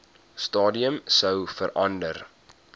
stadium sou verander